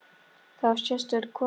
Þú varst sérstök kona.